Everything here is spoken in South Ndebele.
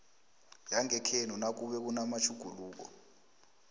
yangekhenu nakube kunamatjhuguluko